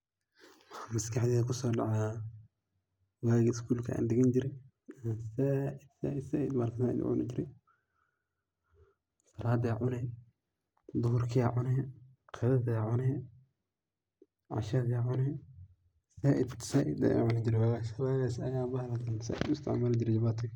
Maxa maskaxdeyda kuso dacaya wagi schoolka aan digani jire ayaa bahalkan zaid u cuni jire, saladi aa cune, duhurki aa cune, qadadhi aa cune ,cashadha cune, zaid ayan u wagas ayan isticmali jire walahi bahalkan jabatiga.